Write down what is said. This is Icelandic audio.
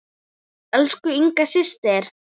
Elsku Inga systir.